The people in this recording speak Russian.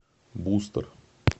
бустер